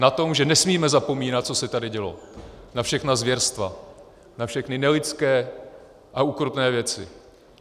Na tom, že nesmíme zapomínat, co se tady dělo, na všechna zvěrstva, na všechny nelidské a ukrutné věci.